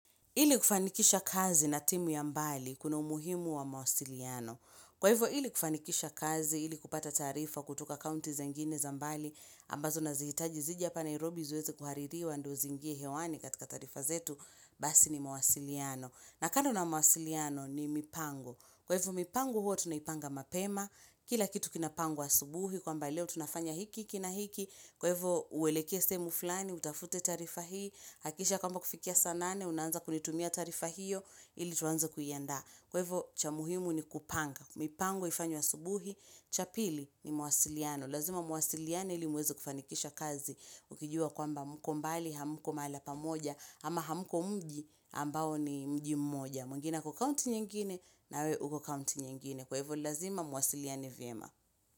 Ili kufanikisha kazi na timu ya mbali, kuna umuhimu wa mawasiliano. Kwa hivyo, ili kufanikisha kazi, ili kupata taarifa kutoka kaunti zingine za mbali, ambazo nazihitaji zije hapa Nairobi ziweze kuhaririwa ndo ziingie hewani katika tarifa zetu, basi ni mawasiliano. Na kando na mwasiliano ni mipango. Kwa hivo mipango huwa tunaipanga mapema. Kila kitu kinapangwa asubuhi. Kwamba leo tunafanya hiki, na hiki. Kwa hivo uelekee sehemu fulani, utafute taarifa hii. Hakisha kwamba kufikia saa nane, unanza kunitumia taarifa hiyo, ili tuanze kuyaanda. Kwa hivo cha muhimu ni kupanga. Mipango ifanywe asubuhi, cha pili ni mwasiliano. Lazima muwasiliane ili muweze kufanikisha kazi. Ukijua kwamba mko mbali hamko mala pamoja ama hamko mji ambao ni mji mmoja. Mwingine ako kaunti nyingine na wewe uko kauti nyingine. Kwa hivo lazima muwasiliane vyema.